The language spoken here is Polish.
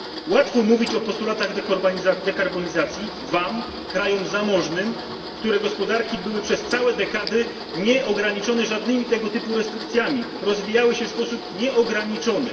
Łatwo mówić o postulatach dekarbonizacji Wam, krajom zamożnym, których gospodarki były przez całe dekady nieograniczone żadnymi tego typu restrykcjami i rozwijały się sposób nieograniczony.